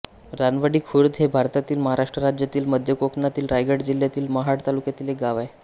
रानवाडी खुर्द हे भारतातील महाराष्ट्र राज्यातील मध्य कोकणातील रायगड जिल्ह्यातील महाड तालुक्यातील एक गाव आहे